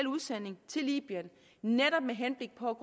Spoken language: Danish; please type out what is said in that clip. udsending til libyen netop med henblik på